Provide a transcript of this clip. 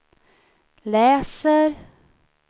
läser